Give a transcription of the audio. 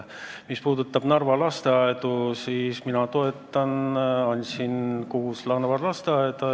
Mis puudutab Narva lasteaedu, siis mina olen neid toetanud.